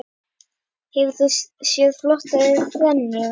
Hefur þú séð flottari þrennu?